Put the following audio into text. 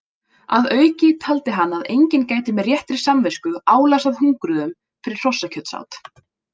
Að auki taldi hann að enginn gæti með réttri samvisku álasað hungruðum fyrir hrossakjötsát.